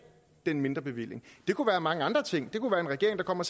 den mindre bevilling og det kunne være mange andre ting det kunne være en regering der kom og